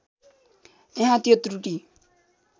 यहाँ त्यो त्रुटी